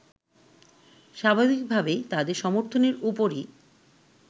স্বাভাবিকভাবেই তাদের সমর্থনের ওপরই